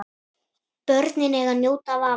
Börnin eiga að njóta vafans.